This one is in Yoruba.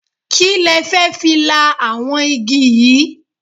Kí le fẹ́ fi la àwọn igi yìí?